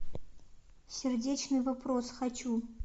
сердечный вопрос хочу